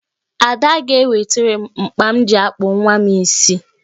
Ada sị ga-ewetere m mkpa m ji akpụ nwa m isi